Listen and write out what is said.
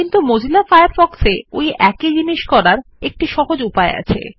কিন্তু Mozilla Firefox এ ওই একই জিনিস করার একটি সহজ উপায় আছে